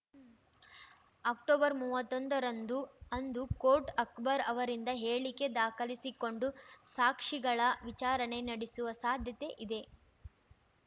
ಅಕ್ಟೊಬರ್ಮೂವತ್ತೊಂದರಂದು ಅಂದು ಕೋರ್ಟ್‌ ಅಕ್ಬರ್‌ ಅವರಿಂದ ಹೇಳಿಕೆ ದಾಖಲಿಸಿಕೊಂಡು ಸಾಕ್ಷಿಗಳ ವಿಚಾರಣೆ ನಡೆಸುವ ಸಾಧ್ಯತೆ ಇದೆ